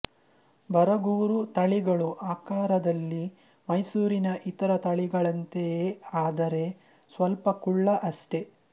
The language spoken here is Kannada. ಬರಗೂರು ತಳಿಗಳು ಆಕಾರದಲ್ಲಿ ಮೈಸೂರಿನ ಇತರ ತಳಿಗಳಂತೆಯೆ ಆದರೆ ಸ್ವಲ್ಪ ಕುಳ್ಳ ಅಷ್ಟೆ